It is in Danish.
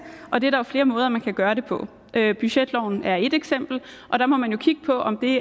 og det er der jo flere måder man kan gøre det på budgetloven er ét eksempel og der må man jo kigge på om det